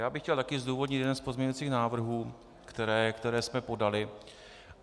Já bych chtěl také zdůvodnit jeden z pozměňovacích návrhů, které jsme podali.